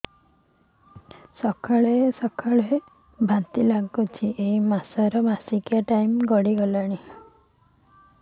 ସକାଳେ ସକାଳେ ବାନ୍ତି ଲାଗୁଚି ଏଇ ମାସ ର ମାସିକିଆ ଟାଇମ ଗଡ଼ି ଗଲାଣି